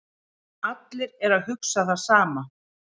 Allir eru að hugsa það sama